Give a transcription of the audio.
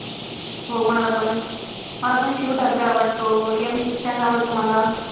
हो मला पण. मला पण शिव ठाकरे आवडतो. MC स्टॅन आवडतो मला.